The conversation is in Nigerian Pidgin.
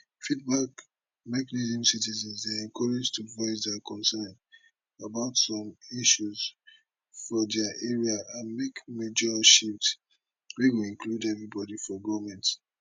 feedback mechanismcitizens dey encourage to voice dia concern about some issues for dia area and make major shift wey go include everibodi for goment